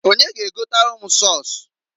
Onye g' egotalụ m sọs?